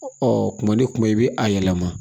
kuma ni kuma i bɛ a yɛlɛma